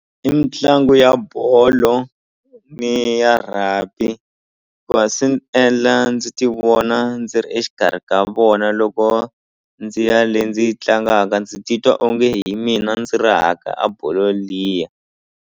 I mitlangu ya bolo ni ya rugby ku va swi ni endla ndzi ti vona ndzi ri exikarhi ka vona loko ndzi ya le ndzi yi tlangaka ndzi ti twa onge hi mina ndzi rahaka a bolo liya.